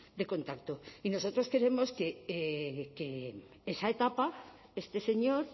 de contacto y nosotros queremos que en esa etapa este señor